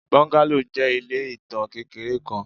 Bungalow jẹ ile itan kekere kan